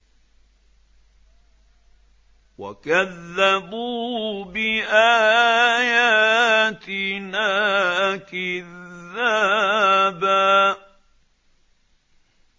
وَكَذَّبُوا بِآيَاتِنَا كِذَّابًا